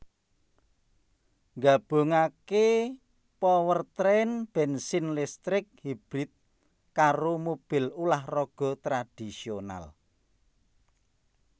nggabungake powertrain bensin listrik hybrid karo mobil ulah raga tradisional